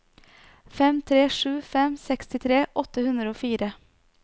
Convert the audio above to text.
fem tre sju fem sekstitre åtte hundre og fire